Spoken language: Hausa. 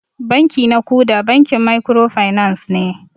Banki na kuda bankin microfinance ne.